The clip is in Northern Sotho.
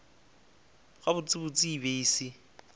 gabotsebotse e be e se